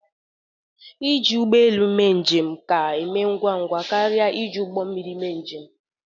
Ịji ụgbọelu mee njem ka e mee ngwa ngwa karịa iji ụgbọmmiri mee njem